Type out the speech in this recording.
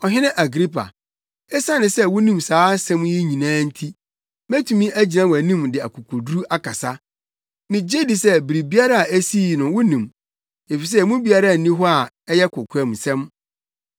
Ɔhene Agripa, esiane sɛ wunim saa nsɛm yi nyinaa nti, metumi agyina wʼanim de akokoduru akasa. Migye di sɛ biribiara a esii no wunim, efisɛ emu biara nni hɔ a ɛyɛ kokoamsɛm.